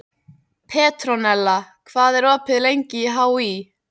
Petronella, hvað er opið lengi í HÍ?